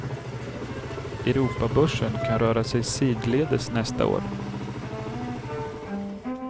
Europabörserna kan röra sig sidledes nästa år.